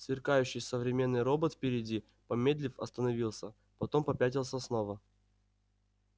сверкающий современный робот впереди помедлив остановился потом попятился снова